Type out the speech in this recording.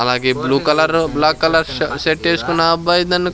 అలాగే blue colour black colour ష shirt ఏసుకున్న అబ్బాయి .